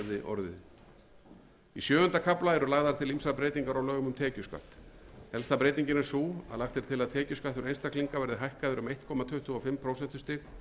í sjöunda kafla eru lagðar til ýmsar breytingar á lögum um tekjuskatt helsta breytingin er sú að lagt er til að tekjuskattur einstaklinga verði hækkaður um einn komma tuttugu og fimm prósentustig